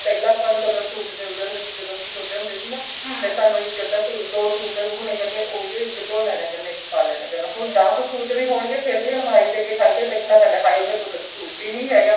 ਪਹਿਲਾਂ ਆਪਾਂ ਨੂੰ ਕਦੋਂ suit ਮਿਲਦੇ ਹੁੰਦੇ ਸੀ ਜਦੋਂ ਅਸੀਂ ਛੋਟੇ ਹੁੰਦੇ ਸੀ ਨਾ ਤਾਂ ਸਾਨੂੰ ਇੱਕ ਅੱਧਾ ਦੋ suit ਹੁਣ ਉਹੀਓ ਇੱਕ ਧੋ ਲੈਣਾ ਕਰਨਾ ਇੱਕ ਪਾ ਲੇਣਾ ਕਰਨਾ ਹੁਣ ਦੱਸ suit ਵੀ ਹੋਣਗੇ ਫੇਰ ਵੀ ਅਲਮਾਰੀ ਦੇ ਅੱਗੇ ਖੜ੍ਹ ਕੇ ਦੇਖਣਾ ਪੈਂਦਾ ਹਾਏ ਮੇਰੇ ਕੋਲ ਤਾਂ ਕੋਈ suit ਈ ਨੀ ਹੈਗਾ